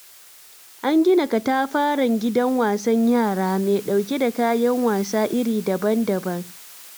An gina katafaren gidan wasan yara, mai ɗauke da kayan wasa iri daban-daban.